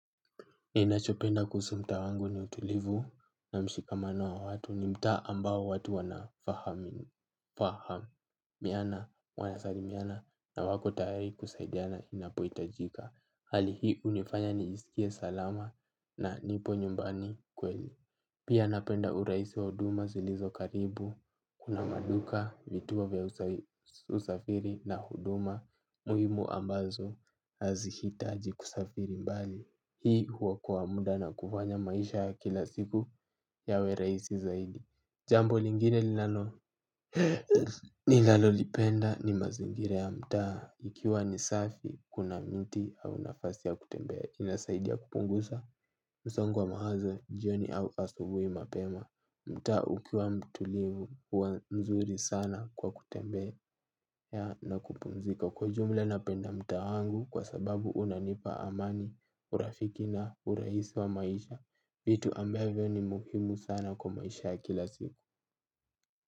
Ninachopenda kuhusu mtaa wangu ni utulivu na mshikamano wa watu ni mtaa ambao watu wanafahamiana, wanasalimiana na wako tayari kusaidiana inapo itajika. Hali hii hunifanya nijisikie salama na nipo nyumbani kweli. Pia napenda urahisi wa huduma zilizo karibu. Kuna maduka, vituo vya usafiri na huduma. Muhimu ambazo hazihitaji kusafiri mbali. Hii huokoa muda na kufanya maisha ya kila siku yawe rahisi zaidi. Jambo lingine nilalo lipenda ni mazingira ya mtaa. Ikiwa ni safi kuna mti au nafasi ya kutembea kina saidia kupunguza msongo wa mawazo jioni au asubui mapema. Mtaa ukiwa mtulivu huwa nzuri sana kwa kutembea na kupumzika. Kwa ujumla napenda mtaa wangu kwa sababu unanipa amani. Urafiki na urahisi wa maisha vitu ambavyo ni muhimu sana kwa maisha ya kila simu.